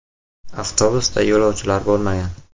Avtobusda yo‘lovchilar bo‘lmagan.